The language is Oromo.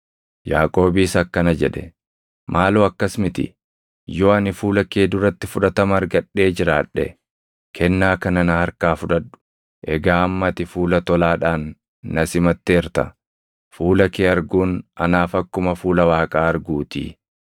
Yaaqoobis akkana jedhe; “Maaloo akkas miti! Yoo ani fuula kee duratti fudhatama argadhee jiraadhe, kennaa kana na harkaa fudhadhu. Egaa amma ati fuula tolaadhaan na simatteerta; fuula kee arguun anaaf akkuma fuula Waaqaa arguutii.